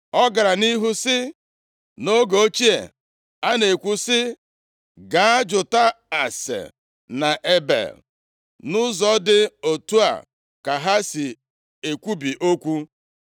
Ọ gara nʼihu sị, “Nʼoge ochie a na-ekwu sị, ‘Gaa jụta ase nʼEbel,’ nʼụzọ dị otu a ka ha si ekwubi okwu.